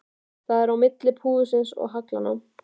Það er á milli púðursins og haglanna.